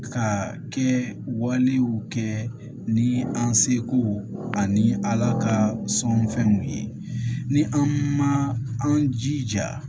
Ka kɛ walew kɛ ni an seko ani ala ka sɔnfɛnw ye ni an ma an jija